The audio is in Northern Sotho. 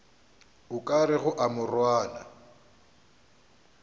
o ka rego a morwana